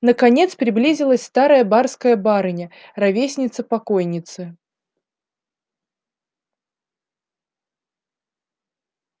наконец приблизилась старая барская барыня ровесница покойницы